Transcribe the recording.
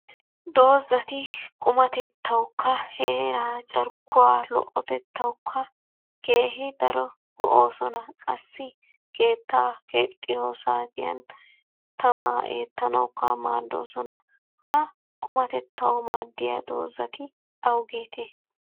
Dozati qumatettawukka heeraa carkkuwa lo'otettawukka keehi daro go'oosona. Qassi keettaa keexxiyo saatiyan tamaa eettanawukka maaddoosona. Ha qumatettawu maaddiya dozati awugeetee?